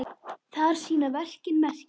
Þar sýna verkin merkin.